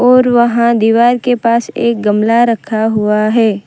और वहां दीवार के पास एक गमला रखा हुआ है।